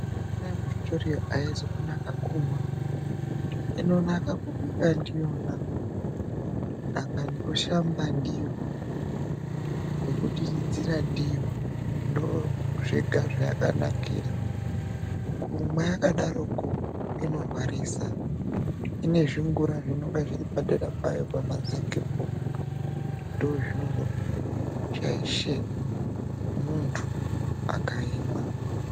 Mvura yemutotoriro aizi kunake kumwa, inonake kubika ndiyona, dangani kushambe ndiyo nekudiridzira ndiyo ndoozvega zvayakanakira. Kumwa yakadarokwo inorwarisa, inezvingura zvinenge zviri padera payo pamazengepo ndozvinozoshaishe munthu akaimwa.